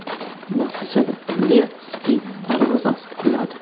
Natijada, Lyadskiy darvozasi quladi.